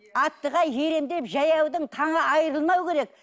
аттыға еремін деп жаяудың таңы айырылмау керек